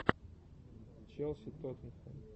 челси тоттенхэм